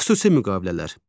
Xüsusi müqavilələr.